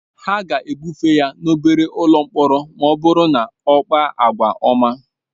Ha ga-ebufe ya n'obere ụlọ mkpọrọ ma ọ bụrụ na ọ na-akpa àgwà ọma.